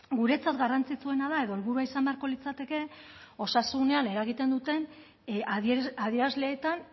guretzat garrantzitsuena da edo helburua izan beharko litzateke osasunean eragiten duten adierazleetan